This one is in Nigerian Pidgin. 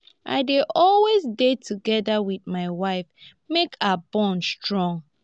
i dey always dey together wit my wife make our bond strong.